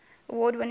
award winning design